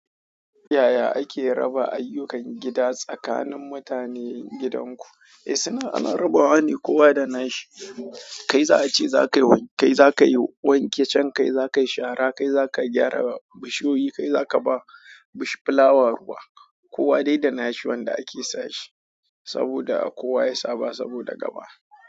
Yaya ake raba ayyukan gida tsakanin mutanen gidanku? Eh suna a larabawa ne kowa da nashi. Kai za a ce za ka yi wanke can, kai za ka yi shara, kai za ka gyara bishiyoyi, kai za ka ba bishflawa ruwa. Kowa dai da nashi wanda ake sa shi saboda kowa ya saba saboda gaba.